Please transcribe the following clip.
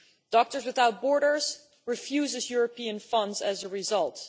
Doctors Without Borders refuses European funds as a result.